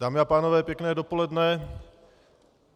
Dámy a pánové, pěkné dopoledne.